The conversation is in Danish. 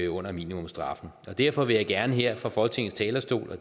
under minimumsstraffen og derfor vil jeg gerne her fra folketingets talerstol og